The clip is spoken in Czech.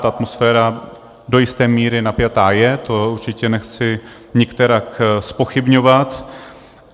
Ta atmosféra do jisté míry napjatá je, to určitě nechci nikterak zpochybňovat.